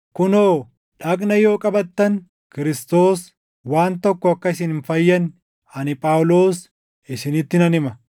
Kunoo, dhagna yoo qabattan Kiristoos waan tokko akka isin hin fayyadne ani Phaawulos isinitti nan hima.